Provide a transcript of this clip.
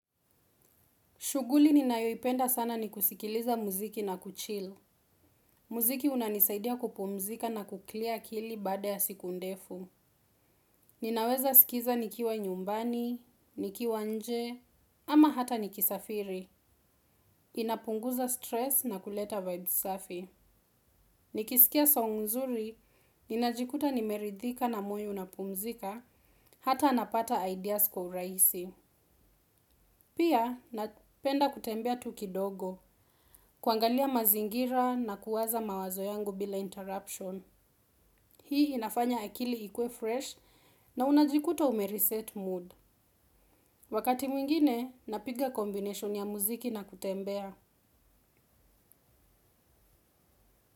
Shughuli ni nayoipenda sana ni kusikiliza muziki na kuchilu. Muziki unanisaidia kupumzika na kuklia akili baada ya siku ndefu. Ninaweza sikiza nikiwa nyumbani, nikiwa nje, ama hata nikisafiri. Inapunguza stress na kuleta vibes safi. Nikisikia song nzuri, ninajikuta nimeridhika na moyo unapumzika, hata napata ideas kwa urahisi. Pia, napenda kutembea tu kidogo, kuangalia mazingira na kuwaza mawazo yangu bila interruption. Hii inafanya akili ikuwe fresh na unajikuta ume reset mood. Wakati mwingine, napiga combination ya muziki na kutembea.